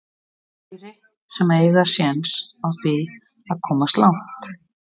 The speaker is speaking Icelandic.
Fleiri sem að eiga séns á því að komast langt?